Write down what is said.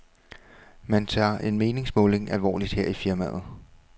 Man tager en meningsmåling alvorligt her i firmaet.